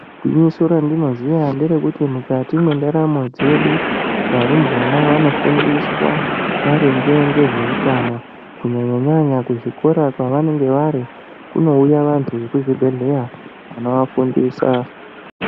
Gwinyiso randinoziya ngerekuti mukati mwendaramo dzedu varumbwana vanofundiswa maringe ngezveutano kunyanyanyanya kuzvikora kwavanenge vari kunouya vantu vekuzvibhedhleya vanovafundisa.